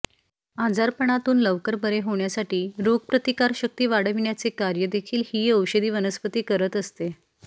आजारापणातून लवकर बरे होण्यासाठी रोगप्रतिकार शक्ती वाढविण्याचे कार्य देखील ही औषधी वनस्पती करत असते